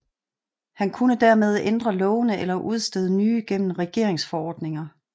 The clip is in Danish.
Han kunne dermed ændre lovene eller udstede nye gennem regeringsforordninger